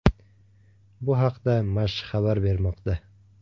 Bu haqda Mash xabar bermoqda .